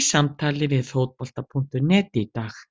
í samtali við Fótbolta.net í dag.